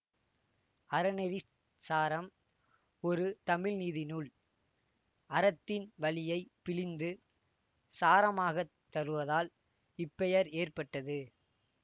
அறநெறிச்சாரம் ஒரு தமிழ் நீதி நூல் அறத்தின் வழியை பிழிந்து சாரமாகத் தருவதால் இப்பெயர் ஏற்பட்டது